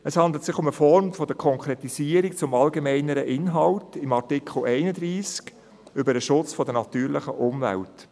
Es handelt sich um eine Form der Konkretisierung des allgemeineren Inhalts von Artikel 31 über den Schutz der natürlichen Umwelt.